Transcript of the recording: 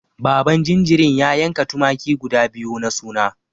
Baban jinjirin ya yanka tumaki guda biyu na suna.